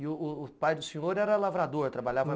E o o pai do senhor era lavrador, trabalhava